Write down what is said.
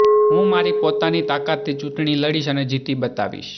હું મારી પોતાની તાકાતથી ચૂંટણી લડીશ અને જીતી બતાવીશ